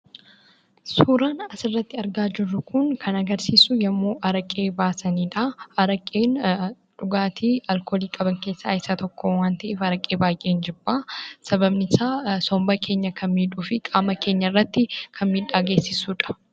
Suuraan asirratti argaa jirru kun kan agarsiisu yommuu Araqee baasaniidha. Araqeen dhugaatii alkoolii of keessaa qaban waan ta’eef baay'een jibba. Sababni isaa somba keenya kan miidhuu fi qaama keenya irratti kan miidhaa geessisuudha.